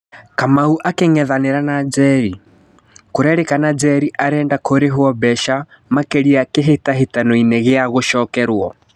Kamau akĩng'ethanĩra na Njeri: Kũrerĩkana Njeri arenda kũrĩhwo mbeca makĩria kĩhĩtahĩtanoinĩ gĩa gũcokerwo.